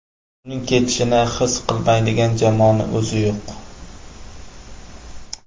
Uning ketishini his qilmaydigan jamoaning o‘zi yo‘q.